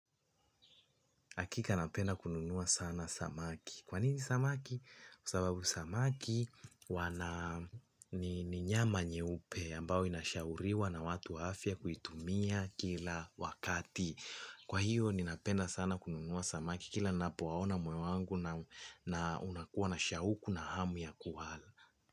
Hakika napenda kununua sana samaki. Kwa nini samaki? Kwa sababu samaki ni nyama nyeupe ambao inashauriwa na watu wa afya kuitumia kila wakati. Kwa hiyo ninapenda sana kununua samaki kila ninapowaona moyo wangu na unakuwa na shauku na hamu ya kuwala.